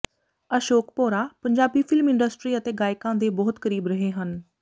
Ashok Bhaura Punjabi film industry ਅਤੇ ਗਾਇਕਾਂ ਦੇ ਬਹੁਤ ਕਰੀਬ ਰਹੇ ਹਨ